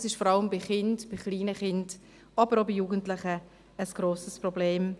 Das ist vor allem bei kleinen Kindern, aber auch bei Jugendlichen ein grosses Problem.